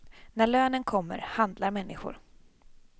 När lönen kommer, handlar människor.